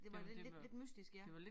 Det var lidt lidt mystisk ja